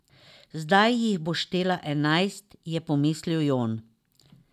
Zdaj jih bo štela enajst, je pomislil Jon.